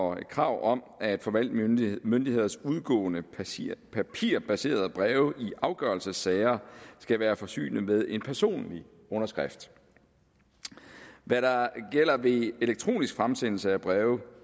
og krav om at forvaltningsmyndigheders udgående papirbaserede breve i afgørelsessager skal være forsynet med en personlig underskrift hvad der gælder ved elektronisk fremsendelse af breve